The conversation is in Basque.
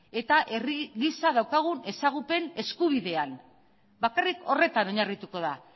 eta herri gisa daukagun ezagupen eskubidean bakarrik horretan oinarrituko da